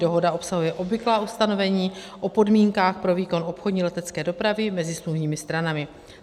Dohoda obsahuje obvyklá ustanovení o podmínkách pro výkon obchodní letecké dopravy mezi smluvními stranami.